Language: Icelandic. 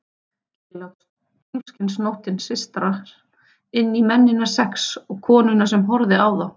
Kyrrlát tunglskinsnóttin sytrar inn í mennina sex og konuna sem horfir á þá.